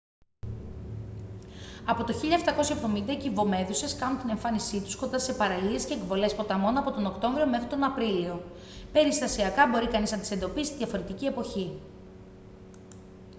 από το 1770 οι κυβομέδουσες κάνουν την εμφάνισή τους κοντά σε παραλίες και εκβολές ποταμών από τον οκτώβριο μέχρι τον απρίλιο περιστασιακά μπορεί κανείς να τις εντοπίσει διαφορετική εποχή